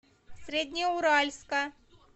среднеуральска